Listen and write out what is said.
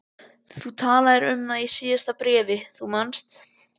Þú talaðir um það í síðasta bréfi, þú manst.